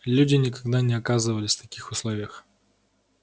люди никогда не оказывались в таких условиях